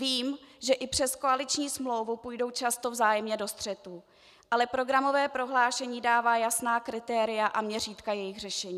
Vím, že i přes koaliční smlouvu půjdou často vzájemně do střetů, ale programové prohlášení dává jasná kritéria a měřítka jejich řešení.